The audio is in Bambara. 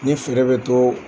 Ni feere bɛ to